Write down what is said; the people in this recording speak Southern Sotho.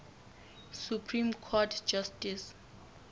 supreme court justice